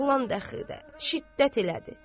Oğlan dəxildə şiddət elədi.